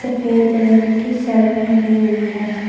सफेद रंग की शर्ट पहनी हुई है।